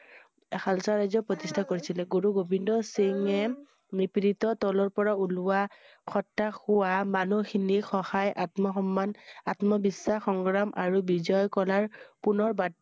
খালচা ৰাজ্য প্ৰতিষ্ঠা কৰিছিলে। গুৰু গোবিন্দ সিংহয়ে নিপ্ৰিধিত তলৰ পৰা ওলোৱা কথা কোৱা মানুহ খিনিৰ সহায় আত্ম সন্মান আত্ম বিশ্বাস সংগ্ৰাম আৰু বিজয় কৰাৰ পুনৰ